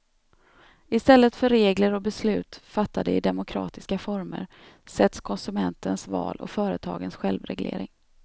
I stället för regler och beslut fattade i demokratiska former sätts konsumentens val och företagens självreglering.